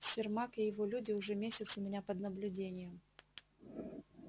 сермак и его люди уже месяц у меня под наблюдением